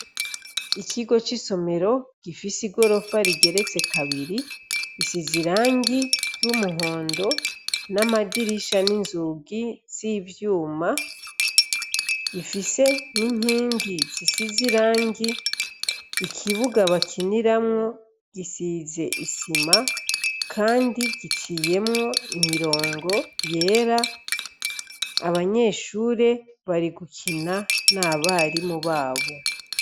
Ikigo cisomero gifise igorofa rigeretse kabiri risize irangi ryumuhondo namadirisha ninzugi zivyuma ifise ninkingi zisize irangi ikibuga bakiniramwo gisize isima kandi giciyemwo imirongo yera abanyeshure bari gukina nabarimu babo